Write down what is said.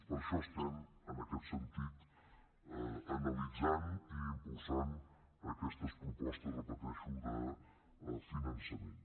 per això en aquest sentit analitzem i impulsem aquestes propostes ho repeteixo de finançament